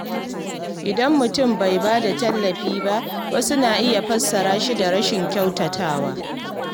Idan mutum bai ba da tallafi ba, wasu na iya fassara shi da rashin kyautatawa.